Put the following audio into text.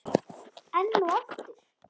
Enn og aftur?